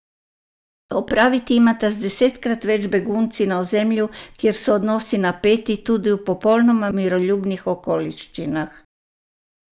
Opraviti imata z desetkrat več begunci, na ozemlju, kjer so odnosi napeti tudi v popolnoma miroljubnih okoliščinah.